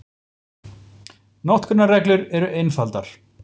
Notkunarreglur eru einfaldar.